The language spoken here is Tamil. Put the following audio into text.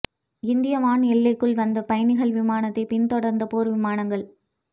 இந்திய வான் எல்லைக்குள் வந்த பயணிகள் விமானத்தை பின்தொடர்ந்த போர் விமானங்கள்